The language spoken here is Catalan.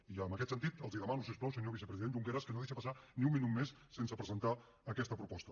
i en aquest sentit li demano si us plau senyor vicepresident junqueras que no deixi passar ni un minut més sense presentar aquesta proposta